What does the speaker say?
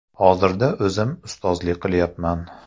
Hozirda o‘zim ustozlik qilyapman.